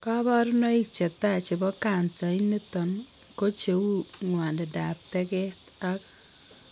Kabarunaik chetai chebo cancer initon ko cheu ngwanindap teget ag